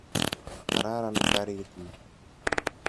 Kararan karit ni.